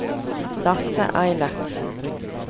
Lasse Eilertsen